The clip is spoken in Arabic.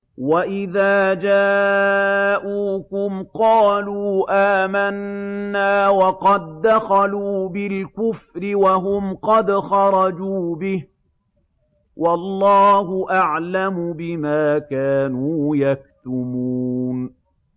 وَإِذَا جَاءُوكُمْ قَالُوا آمَنَّا وَقَد دَّخَلُوا بِالْكُفْرِ وَهُمْ قَدْ خَرَجُوا بِهِ ۚ وَاللَّهُ أَعْلَمُ بِمَا كَانُوا يَكْتُمُونَ